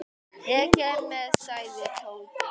Ég kem með sagði Tóti.